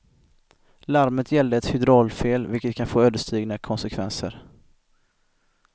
Larmet gällde ett hydraulfel, vilket kan få ödesdigra konsekvenser.